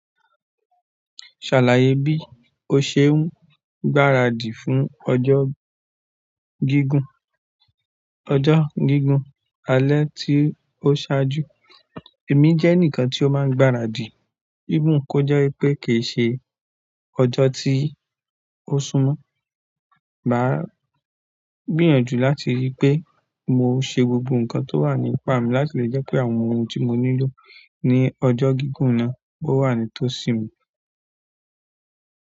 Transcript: Ṣàlàyé bí o ṣe ń gbáradì fún ọjọ́ gígùn, ọjọ́ gígùn alẹ́ tí ó ṣáájú. Èmi jẹ́ eǹikan tí ó máa ń gbáradì ifun kó jẹ́ wípé kì í ṣe ọjọ́ tí ó súmọ́. Maa gbìyànjú láti ríi pé mo ṣe gbogbo ǹkan tó wà ní ipá mi láti lè jẹ́ pé àwọn ohun tí mo nílò ní ọjọ́ gígùn náà ó wà ní tó sì mi.